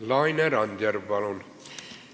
Laine Randjärv, palun!